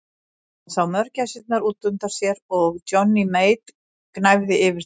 Hann sá mörgæsirnar út undan sér og Johnny Mate gnæfa yfir þeim.